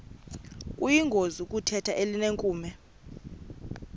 kuyingozi ukutheza elinenkume